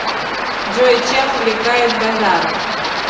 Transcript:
джой чем увлекает базаров